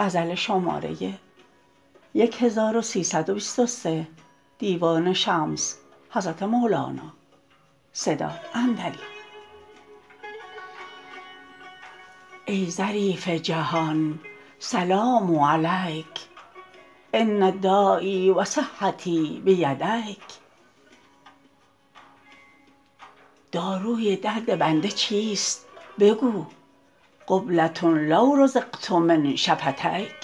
ای ظریف جهان سلام علیک ان دایی و صحتی بیدیک داروی درد بنده چیست بگو قبله لو رزقت من شفتیک